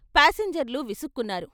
పాసింజర్లు విసుక్కున్నారు.